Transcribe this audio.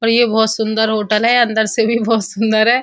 और ये बहोत सुंदर होटल है अंदर से भी बहोत सुंदर है।